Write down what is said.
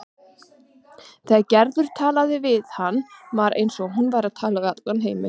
Þegar Gerður talaði við hann var eins og hún væri að tala við allan heiminn.